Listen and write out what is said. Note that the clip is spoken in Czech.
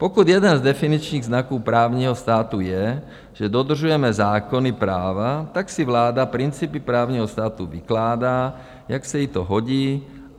Pokud jeden z definičních znaků právního státu je, že dodržujeme zákony práva, tak si vláda principy právního státu vykládá, jak se jí to hodí.